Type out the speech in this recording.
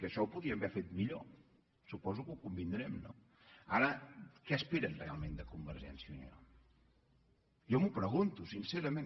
això ho podien haver fet millor suposo que hi convindrem no ara què esperen realment de convergència i unió jo m’ho pregunto sincerament